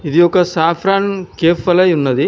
ఇది ఒక saffron cafe వలేయున్నది.